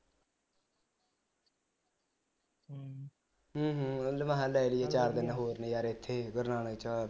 ਅਮ ਹਮ ਮੈਂ ਹਾਂ ਲੈ ਲਈਏ ਚਾਰ ਦਿਨ ਹੋਰ ਨਜਾਰੇ ਇਥੇ ਗੁਰੂ ਨਾਨਕ ਵਿਚ